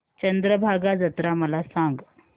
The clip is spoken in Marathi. चंद्रभागा जत्रा मला सांग